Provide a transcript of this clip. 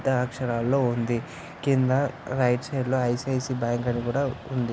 పెద్ద అక్షరాలలో ఉంది కింద రైట్ సైడ్ లో ఐసిఐసిఐ బ్యాంక్ అని కూడా ఉంది.